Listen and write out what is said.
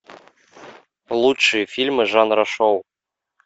лучшие фильмы жанра шоу